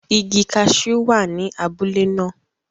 Igi cashew wa ni abule naa